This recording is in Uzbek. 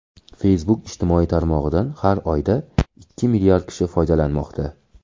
Facebook ijtimoiy tarmog‘idan har oyda ikki milliard kishi foydalanmoqda.